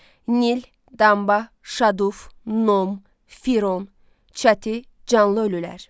Nil, Damba, Şaduf, Nom, Firon, Çati, Canlı ölülər.